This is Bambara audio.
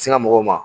Sin ka mɔgɔw ma